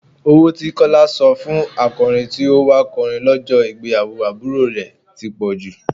Owó tí Kọ́lá san fún akọrin tí ó wà kọrin lọ́jọ́ ìgbéyàwó àbúrò rẹ̀ ti pọ̀jù.